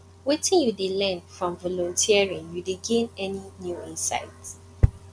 wetin you dey learn from volunteering you dey gain any new insight